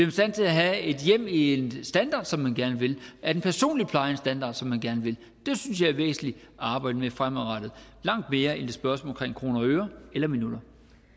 i stand til at have et hjem i en standard som man gerne vil er den personlige pleje i en standard som man gerne vil det synes jeg er væsentligt at arbejde med fremadrettet langt mere end spørgsmålet om kroner og øre eller minutter